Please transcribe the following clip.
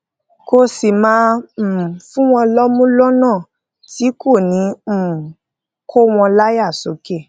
kó sì máa um fún wọn lómú lónà tí kò ní um kó wọn láyà sókè